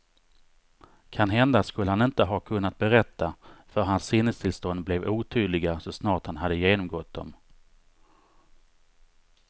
Kanhända skulle han inte ha kunnat berätta, för hans sinnestillstånd blev otydliga så snart han hade genomgått dem.